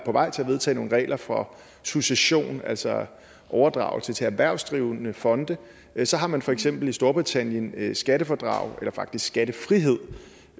vej til at vedtage nogle regler for succession altså overdragelse til erhvervsdrivende fonde så har man for eksempel i storbritannien skattefradrag eller faktisk skattefrihed